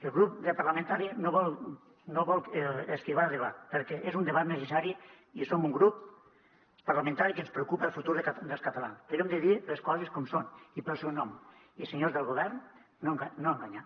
el grup parlamentari no vol esquivar el debat perquè és un debat necessari i som un grup parlamentari que ens preocupa el futur dels catalans però hem de dir les coses com són i pel seu nom i senyors del govern no enganyar